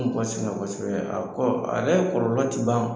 Be mɔgɔ sɛgɛn kosɛbɛ yɛ a kɔ a yɛrɛ kɔlɔlɔ ti ban